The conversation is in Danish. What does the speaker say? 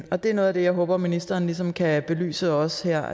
og det er noget af det jeg håber ministeren ligesom kan belyse også her